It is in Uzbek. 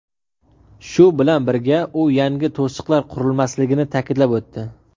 Shu bilan birga u yangi to‘siqlar qurilmasligini ta’kidlab o‘tdi.